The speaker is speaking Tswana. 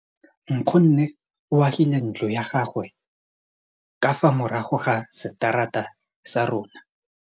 Nkgonne o agile ntlo ya gagwe ka fa morago ga seterata sa rona.